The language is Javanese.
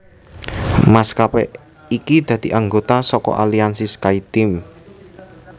Maskapé iki dadi anggota saka aliansi SkyTeam